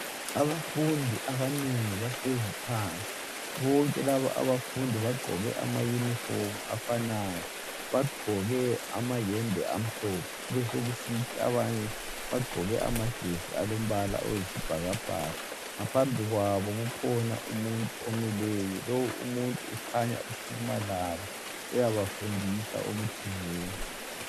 Abafundi abanengi bahlezi phansi . Bonke laba abafundi bagqoke amayunifomu afanayo. Bagqoke amayembe amhlophe kubesokusithi abanye bagqoke amajesi alombala oyisibhakabhaka . Ngaphambi kwabo kukhona umuntu omileyo. Lowu umuntu ukhanya ukhuluma labo uyabafundisa okuthizeni.